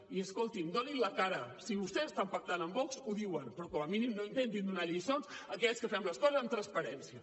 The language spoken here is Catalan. i escoltin donin la cara si vostès estan pactant amb vox ho diuen però com a mínim no intentin donar lliçons a aquells que fem les coses amb transparència